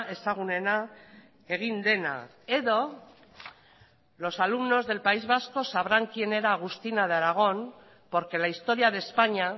ezagunena egin dena edo los alumnos del país vasco sabrán quién era agustina de aragón porque la historia de españa